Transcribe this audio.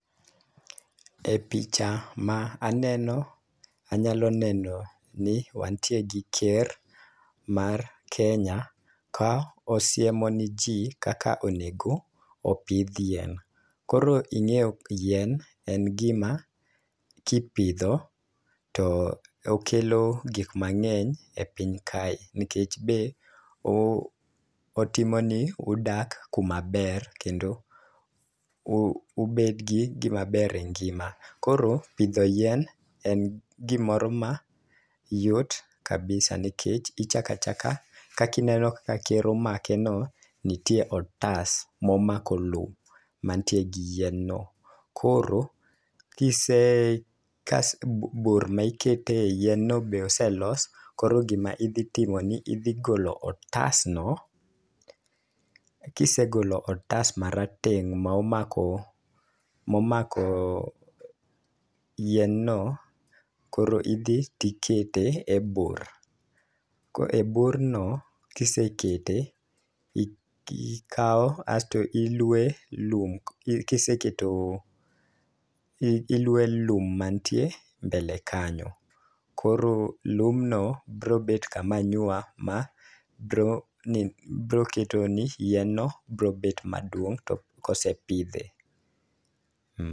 E picha ma aneno, anyalo neno ni wantie gi ker mar Kenya. Ka osiemo na jii kaka onego opidh yien. Koro ing'eyo yien en gima kipidho to okelo gik mang'eny e piny kae nikech be otimo ni udak kuma ber kendo u ubed gi gima ber e ngima . Koro pidho yien en gimoro ma yot kabisa nikech ichaka chaka kaki neno ka ker omake no. Nitie otas momako lowo mantie gi yien no. Koro kise kase bur ne ikete yien no be oselos koro gima idhi timo en ni idhi golo otas no kisegolo otas marateng' momako momako yien no koro idhi tikete e bur . E bur no kisekete ikawo kasto iluoye lum kiseketo iluoye lum mantie mbele kanyo . Koro lumno bro bet kama nywa mabro bro keto ni yien no bro bet maduong' to kosepidhe.